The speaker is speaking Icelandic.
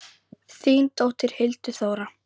Þín dóttir, Hildur Þóra.